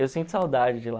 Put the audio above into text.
Eu sinto saudade de lá.